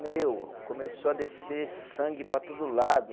Meu, começou a descer sangue para todo lado.